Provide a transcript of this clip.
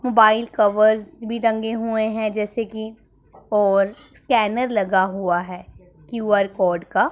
Mobile covers भी टंगे हुए हैं जैसे कि और स्कैनर लगा हुआ है क्यू_आर कोड का।